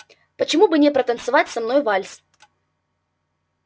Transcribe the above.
почему бы не протанцевать со мной вальс